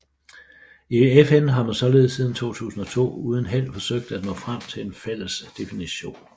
I FN har man således siden 2002 uden held forsøgt at nå frem til en fælles definition